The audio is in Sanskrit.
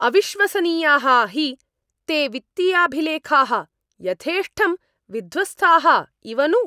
अविश्वसनीयाः हि ते वित्तीयाभिलेखाः यथेष्टं विध्वस्ताः इव नु!